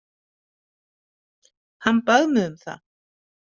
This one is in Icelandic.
Hann bað mig um það.